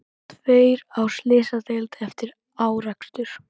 Tveir á slysadeild eftir árekstur